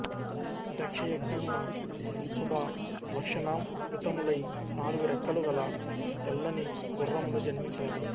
దక్షయజ్ఞమున శుభలక్షణాంవితములై నాలుగు రెక్కలు కల తెల్లని గుర్రములు జన్మించినవి